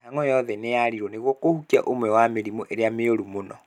Mĩhang'o yothe nĩyarĩirwo nĩguo kũhukia ũmwe wa mĩrimũ ĩrĩa mĩũru mũno